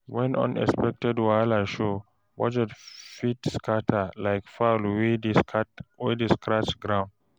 Wen unexpected wahala show, budget fit scatter like fowl wey dey scratch ground